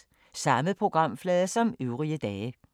Samme programflade som øvrige dage